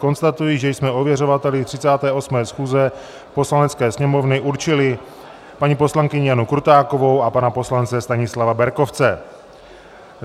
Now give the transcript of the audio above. Konstatuji, že jsme ověřovateli 38. schůze Poslanecké sněmovny určili paní poslankyni Janu Krutákovou a pana poslance Stanislava Berkovce.